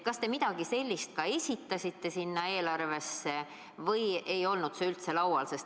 Kas te midagi sellist praegusesse eelarvesse esitasite või ei olnud see teema üldse laual?